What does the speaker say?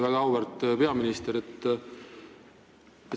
Väga auväärt peaminister!